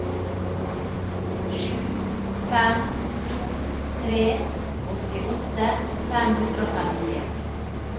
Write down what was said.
sju fem to tre åttiåtte fem hundre og femtien